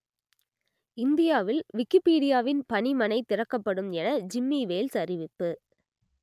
இந்தியாவில் விக்கிப்பீடியாவின் பணிமனை திறக்கப்படும் என ஜிம்மி வேல்ஸ் அறிவிப்பு